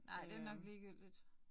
Nej det nok ligegyldigt